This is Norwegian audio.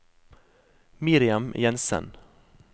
Miriam Jenssen